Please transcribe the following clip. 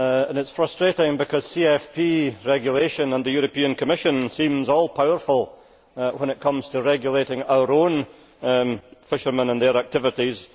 It is frustrating because CFP regulation and the European Commission seem all powerful when it comes to regulating our fishermen and their activities.